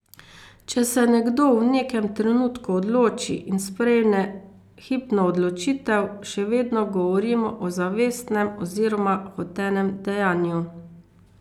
Če se nekdo v nekem trenutku odloči in sprejme hipno odločitev, še vedno govorimo o zavestnem oziroma hotenem dejanju.